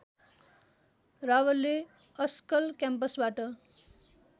रावलले ASCOL क्याम्पसबाट